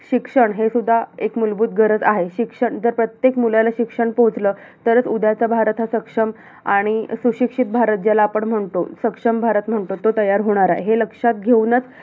शिक्षण हे सुद्धा एक मुलभूत गरज आहे. शिक्षण, जर प्रत्येक मुलाला शिक्षण पोहोचलं, तरंच उद्याचा भारत हा सक्षम आणि सुशिक्षित भारत ज्याला आपण म्हणतो. सक्षम भारत म्हणतो, तो तयार होणार आहे. हे लक्षात घेऊनच